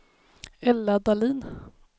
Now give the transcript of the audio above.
Ella Dahlin